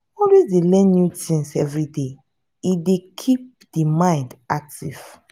always dey learn new things everyday e dey keep di mind active